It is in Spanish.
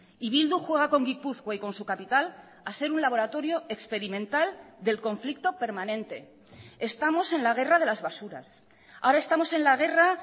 y bildu juega con gipuzkoa y con su capital a ser un laboratorio experimental del conflicto permanente estamos en la guerra de las basuras ahora estamos en la guerra